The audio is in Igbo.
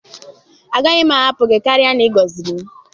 Agaghị m ahapụ gị karịa n'ịgoziri m